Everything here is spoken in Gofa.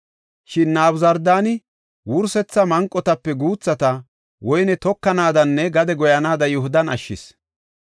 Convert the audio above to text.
Shin Nabuzardaani wursetha manqotape guuthata woyne tokanaadanne gade goyanaada Yihudan ashshis.